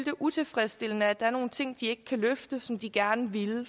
er utilfredsstillende at der er nogle ting de ikke kan løfte men som de gerne ville